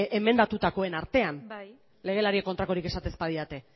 emendatutakoen artean legelariek kontrakorik esaten ez badidate